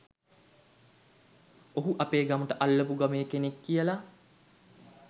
ඔහු අපේ ගමට අල්ලපු ගමේ කෙනෙක් කියලා